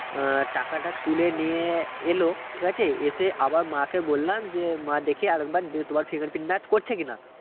আহ টাকাটা তুলে নিয়ে এল ঠিক আছে এসে আবার মাকে বললাম যে মা দেখি আরেকবার দিয়ে তোমার fingerprint match করছে কিনা